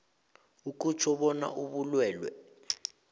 akutjho bona ubulwelwe